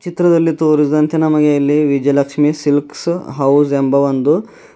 ಚಿತ್ರದಲ್ಲಿ ತೋರಿಸಿದಂತೆ ನಮಗೆ ಇಲ್ಲಿ ವಿಜಯಲಕ್ಷ್ಮಿ ಸಿಲ್ಕ್ ಹೌಸ್ ಎಂಬ ಒಂದು.